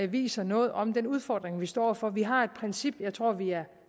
viser noget om den udfordring vi står over for vi har et princip som jeg tror at vi er